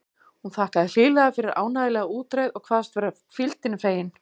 Hún þakkaði hlýlega fyrir ánægjulega útreið og kvaðst vera hvíldinni fegin.